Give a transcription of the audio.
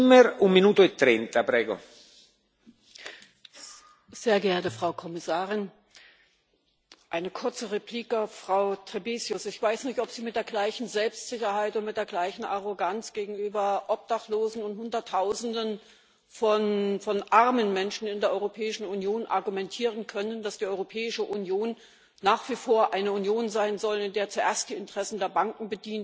Herr Präsident, sehr geehrte Frau Kommissarin! Eine kurze Replik auf Frau Trebesius Ich weiß nicht, ob Sie mit der gleichen Selbstsicherheit und mit der gleichen Arroganz gegenüber Obdachlosen und Hunderttausenden von armen Menschen in der Europäischen Union argumentieren können, dass die Europäische Union nach wie vor eine Union sein soll, in der zuerst die Interessen der Banken